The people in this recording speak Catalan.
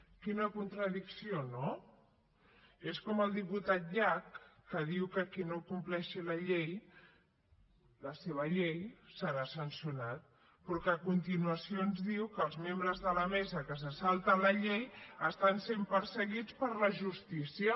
quina contradicció no és com el diputat llach que diu que qui no compleixi la llei la seva llei serà sancionat però que a continuació ens diu que els membres de la mesa que se salten la llei estan sent perseguits per la justícia